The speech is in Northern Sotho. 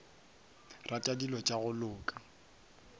rata dilo tša go loka